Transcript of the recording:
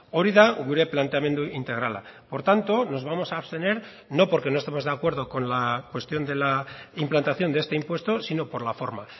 hori da gure planteamendu integrala por tanto nos vamos a abstener no porque no estemos de acuerdo con la cuestión de la implantación de este impuesto sino por la forma